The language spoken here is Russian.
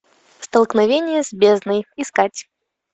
столкновение с бездной искать